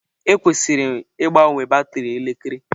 Ekwesịrị ịgbanwe batrị elekere.